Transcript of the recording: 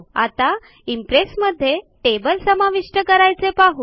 आता इंप्रेस मध्ये टेबल समाविष्ट करायचे पाहु